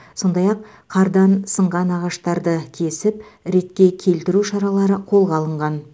сондай ақ қардан сынған ағаштарды кесіп ретке келтіру шаралары қолға алынған